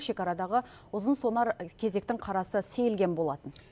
шекарадағы ұзын сонар кезектің қарасы сейілген болатын